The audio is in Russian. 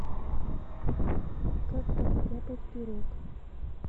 как постряпать пирог